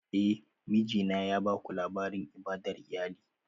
Eh, mijina ya baku labarin ibadar iyali